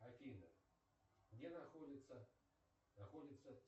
афина где находится находится